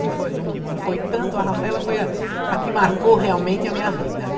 Não foi não não foi tanto, a Rafaela foi a a que marcou realmente a minha vida, né?